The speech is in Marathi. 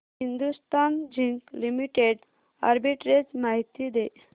हिंदुस्थान झिंक लिमिटेड आर्बिट्रेज माहिती दे